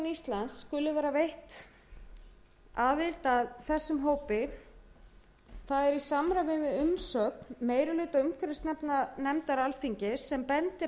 íslands skuli vera veitt aðild að þessum hópi er í samræmi við umsögn meiri hluta umhverfisnefndar alþingis sem bendir